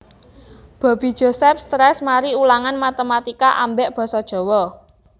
Bobby Joseph stress mari ulangan matematika ambek boso jowo